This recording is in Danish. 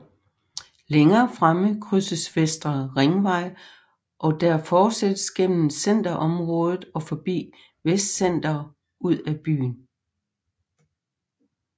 Længere fremme krydses Vestre Ringvej og der fortsættes gennem centerområdet og forbi Vestcenter ud af byen